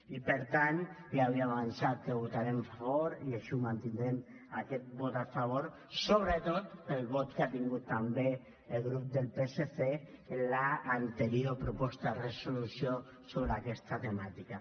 i per tant ja havíem avançat que hi votarem a favor i així ho mantindrem aquest vot a favor sobretot pel vot que ha tingut també el grup del psc en l’anterior proposta de resolució sobre aquesta temàtica